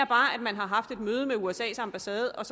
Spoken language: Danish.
bare at man har haft et møde med usas ambassade og